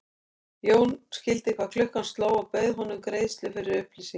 Jón skildi hvað klukkan sló og bauð honum greiðslu fyrir upplýsingar.